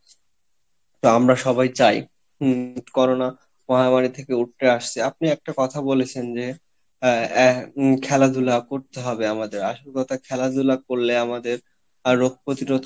তা আমরা সবাই চাই, হম Corona মহামারী থেকে উতরে আসছে, আপনি একটা কথা বলেছেন যে আহ খেলাধুলা করতে হবে আমাদের আসল কথা খেলা ধুলা করলে আমাদের আহ রোগ প্রতিরোধ